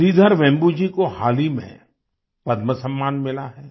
श्रीधर वेम्बू जी को हाल ही में पद्म सम्मान मिला है